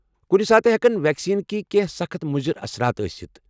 کنہ ساتہٕ ہیٚکن ویکسیٖنٕکہِ کیٚنٛہہ سخٕت مضر اثرات ٲستھ ۔